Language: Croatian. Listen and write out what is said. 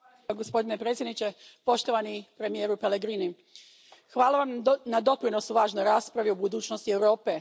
Gospodine predsjedniče, poštovani premijeru Pellegrini, hvala Vam na doprinosu važnoj raspravi o budućnosti Europe.